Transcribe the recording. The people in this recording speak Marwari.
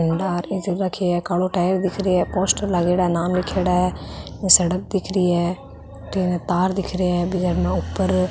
कालो टायर दिख रे है पोस्टर लागेड़ा नाम लीखेड़ा है ये सड़क दिख रही है तार दिख रे है बिक ऊपर --